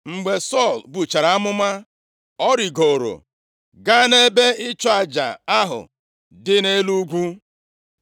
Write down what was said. Mgbe Sọl buchara amụma, ọ rigooro gaa nʼebe ịchụ aja ahụ dị nʼelu ugwu.